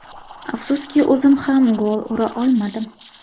Afsuski o‘zim ham gol ura olmadim.